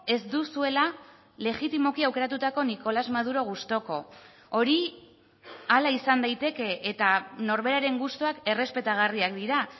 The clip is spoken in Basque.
ez duzuela legitimoki aukeratutako nicolás maduro gustuko hori hala izan daiteke eta norberaren gustuak errespetagarriak dira